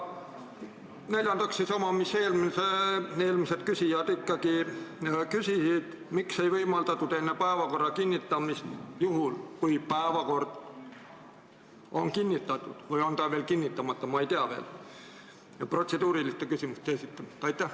Neljandaks sama, mida eelmised küsijad küsisid: miks ei võimaldatud enne päevakorra kinnitamist – juhul, kui päevakord on ikka kinnitatud, võib-olla on see veel kinnitamata, ma ei tea – protseduuriliste küsimuste esitamist?